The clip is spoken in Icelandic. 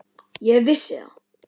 Ég vissi það.